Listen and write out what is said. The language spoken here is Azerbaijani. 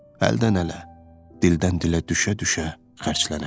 Əldən-ələ, dildən-dilə düşə-düşə xərclənərsən.